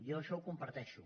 jo això ho comparteixo